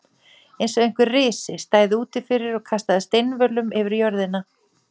Eins og einhver risi stæði úti fyrir og kastaði steinvölum yfir jörðina.